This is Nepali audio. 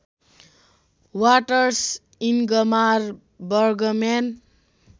waters Ingmar Bergman